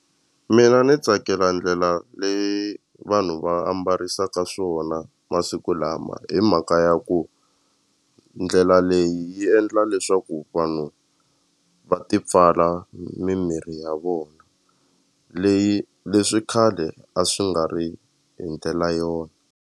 Mina ni tsakela ndlela leyi vanhu va ambarisaka swona masiku lama hi mhaka ya ku ndlela leyi yi endla leswaku vanhu va ti pfala mimiri ya vona leyi leswi khale a swi nga ri hi ndlela yona.